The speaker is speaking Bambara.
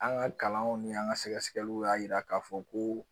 An ka kalanw ni an ka sɛgɛsɛgɛliw y'a yira k'a fɔ ko